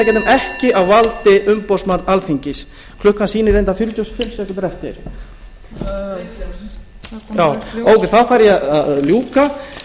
ekki á valdi umboðsmanns alþingis klukkan sýnir reyndar fjörutíu og fimm sekúndur eftir ókei þá þarf ég að ljúka